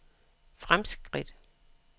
fremskridt